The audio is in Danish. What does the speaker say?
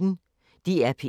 DR P1